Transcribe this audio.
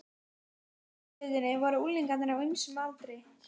Í hinni fjölskyldunni voru unglingar á ýmsum aldri.